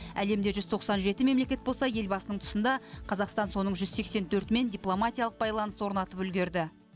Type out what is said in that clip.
әлемде жүз тоқсан жеті мемлекет болса елбасының тұсында қазақстан соның жүз сексен төртімен дипломатиялық байланыс орнатып үлгерді